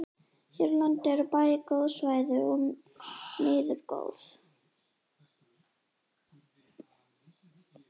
Hér á landi eru bæði góð svæði og miður góð.